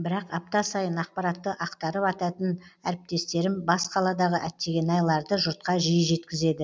бірақ апта сайын ақпаратты ақтарып айтатын әріптестерім бас қаладағы әттеген ай ларды жұртқа жиі жеткізеді